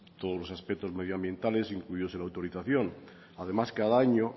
todos los aspectos medioambientales incluidos en la autorización además cada año